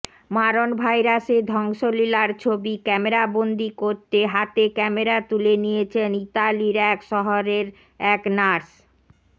মারণ ভাইরাসের ধ্বংসলীলার ছবি ক্যামেরাবন্দি করতে হাতে ক্যামেরা তুলে নিয়েছেন ইতালির এক শহরের এক নার্স